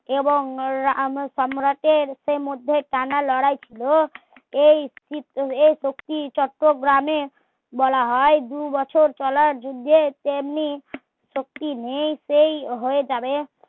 এবং সম্রাটের ইতিমধ্যে টানা লড়াই ছিলো এই শক্তি চট্টগ্রামে বলা হয় দুবছর চলার তেমনি শক্তি নেই সেই হয়ে যাবে